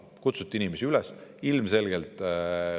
Kutsuti inimesi üles.